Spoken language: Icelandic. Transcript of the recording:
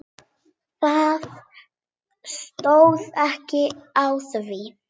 Það stóð ekki á því.